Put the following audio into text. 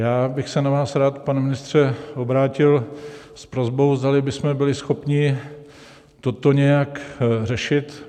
Já bych se na vás rád, pane ministře, obrátil s prosbou, zdali bychom byli schopni toto nějak řešit.